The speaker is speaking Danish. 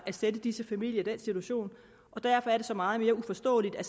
at sætte disse familier i den situation og derfor er det så meget mere uforståeligt at